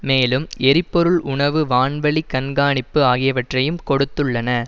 மேலும் எரிபொருள் உணவு வான்வழிக் கண்காணிப்பு ஆகியவற்றையும் கொடுத்துள்ளன